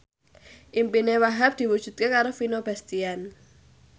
impine Wahhab diwujudke karo Vino Bastian